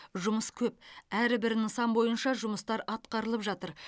жұмыс көп әрбір нысан бойынша жұмыстар атқарылып жатыр